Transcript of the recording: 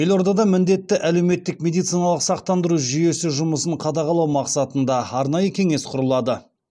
елордада міндетті әлеуметтік медициналық сақтандыру жүйесі жұмысын қадағалау мақсатында арнайы кеңес құрылады